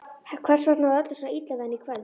Hvers vegna var öllum svona illa við hann í kvöld?